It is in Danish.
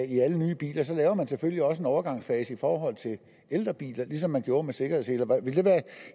i alle nye biler så laver man selvfølgelig også en overgangsfase i forhold til ældre biler ligesom man gjorde med sikkerhedsseler ville det være